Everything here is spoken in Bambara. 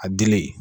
A dili